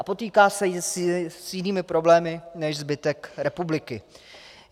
A potýká se i s jinými problémy než zbytek republiky.